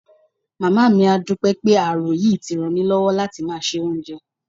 Màmá mi á dúpẹ́ pé ààrò yìí ti ràn mí lọ́wọ́ láti máa se oúnjẹ